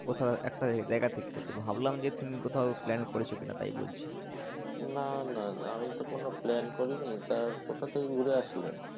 কোথাও একটা জায়গা থেকে তো ভাবলাম যে তুমি কোথাও plan করেছো কিনা তাই বলছি। না না আমি তো কোনও plan করিনি। তো কোথা থেকে ঘুরে আসলে।